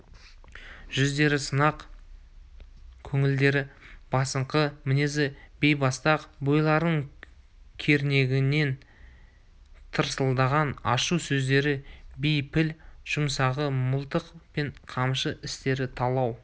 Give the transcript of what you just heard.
жүздері сынық көңілдері басыңқы мінезі бейбастақ бойларын кернеген тырсылдаған ашу сөздері бейпіл жұмсағаны мылтық пен қамшы істері талау